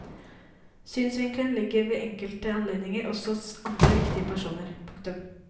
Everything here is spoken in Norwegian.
Synsvinkelen ligger ved enkelte anledninger også hos andre viktige personer. punktum